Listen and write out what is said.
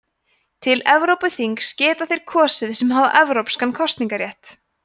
til evrópuþingsins geta þeir kosið sem hafa evrópskan ríkisborgararétt